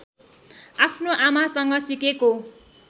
आफ्नो आमासँग सिकेको